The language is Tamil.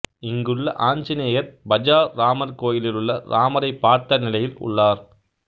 இங்குள்ள ஆஞ்சநேயர் பஜார் ராமர் கோயிலிலுள்ள ராமரைப் பார்த்த நிலையில் உள்ளார்